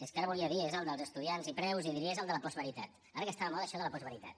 és que ara volia dir és el dels estudiants i preus i diria és el de la postveritat ara que està de moda això de la postveritat